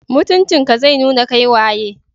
Mutunci ka zai nuna kai waye.